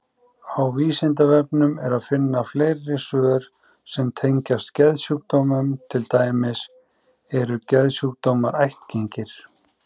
Á Vísindavefnum er að finna fleiri svör sem tengjast geðsjúkdómum, til dæmis: Eru geðsjúkdómar ættgengir?